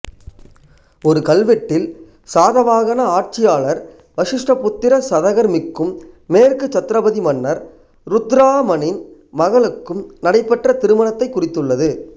ஒரு கல்வெட்டில் சாதவாகன ஆட்சியாளர் வசிஷ்டிபுத்திர சதகர்மிக்கும் மேற்கு சத்ரபதி மன்னர் ருத்திரதாமனின் மகளுக்கும் நடைபெற்ற திருமணத்தை குறித்துள்ளது